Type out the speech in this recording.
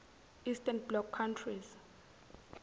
eastern bloc countries